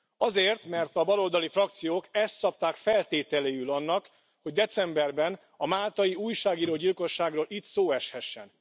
Azért, mert a baloldali frakciók ezt szabták feltételéül annak, hogy decemberben a máltai újságíró gyilkosságról itt szó eshessen.